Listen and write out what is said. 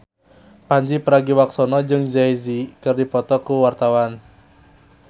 Pandji Pragiwaksono jeung Jay Z keur dipoto ku wartawan